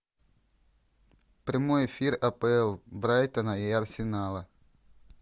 прямой эфир апл брайтона и арсенала